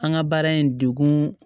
An ka baara in degun